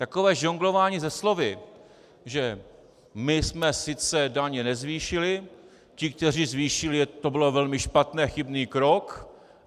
Takové žonglování se slovy, že my jsme sice daně nezvýšili, ti, kteří zvýšili, to byl velmi špatný a chybný krok.